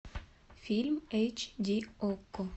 фильм эйч ди окко